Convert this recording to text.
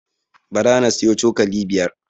Bara na siyo cokali biyar